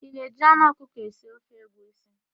Ị na-eji anụ ọkụkọ esi ofe egwusi?